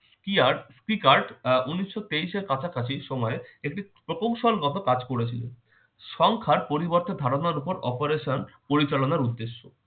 কিয়ার স্পিকারট আহ উনিশশো তেইশ এর কাছাকাছি সময়ে একটি প্রকৌশলগত কাজ করেছিল। সংখ্যার পরিবর্তন ধারণার উপর operation পরিচালনার উদ্দেশ্যে।